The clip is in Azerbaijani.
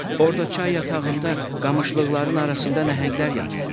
Orda çay yatağında qamışlıqların arasında nəhənglər yatır.